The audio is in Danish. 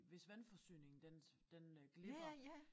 Hvis vandforsyningen den den øh glipper